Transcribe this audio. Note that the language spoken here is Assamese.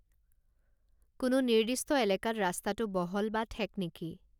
কোনো নিৰ্দিষ্ট এলেকাত ৰাস্তাটো বহল বা ঠেক নেকি